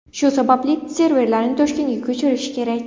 Shu sababli serverlarni Toshkentga ko‘chirish kerak.